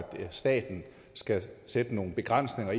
staten skal sætte nogle begrænsninger